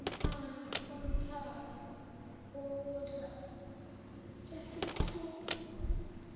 umthamo wokudla esikudlayo